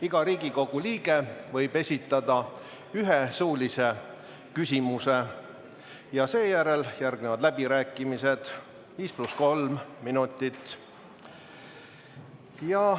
Iga Riigikogu liige võib esitada ühe suulise küsimuse ja seejärel tulevad läbirääkimised 5 + 3 minutit.